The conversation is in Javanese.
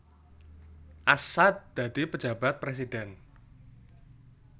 Assaat dadi Pejabat Presiden